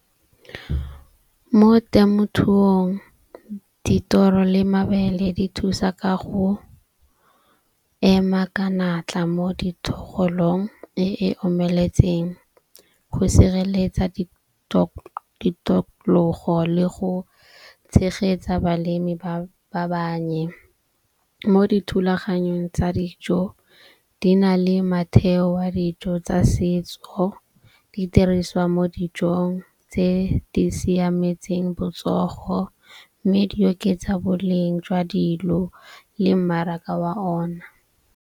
Mo temothuong dithoro le mabele di thusa ka go ema ka natla mo dithogolong e e omeletseng go sireletsa di le go tshegetsa balemi ba ba bannye. Mo dithulaganyong tsa dijo di na le matheo wa dijo tsa setso. Di diriswa mo dijong tse di siametseng botsogo. Mme di oketsa boleng jwa dilo le mmaraka wa ona.